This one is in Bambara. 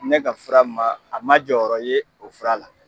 Ne ka fura ma a ma jɔyɔrɔ ye o fura la